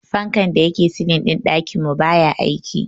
Fankan da yake silin din dakin mu baya aiki.